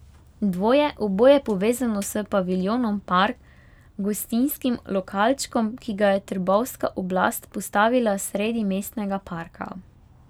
Dvoje, oboje povezano s paviljonom Park, gostinskim lokalčkom, ki ga je trbovska oblast postavila sredi mestnega parka.